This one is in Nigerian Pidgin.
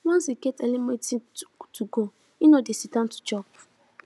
once e get early meeting to go e no dey sit down to chop